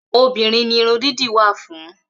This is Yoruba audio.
Obìnrin ni Irun dídì wa fún.